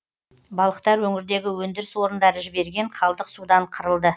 балықтар өңірдегі өндіріс орындары жіберген қалдық судан қырылды